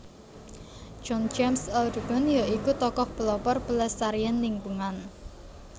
John James Audubon ya iku tokoh pelopor pelestarian lingkungan